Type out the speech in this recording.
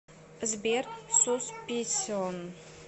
сбер сусписион